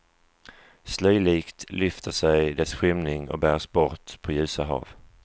Slöjlikt lyfter sig dess skymning och bärs bort på ljusa hav.